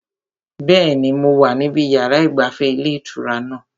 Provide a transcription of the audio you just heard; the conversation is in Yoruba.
Bẹ́ẹ̀ni, mo wà níbi yàrá ìgbafẹ́ ilé ìtura náà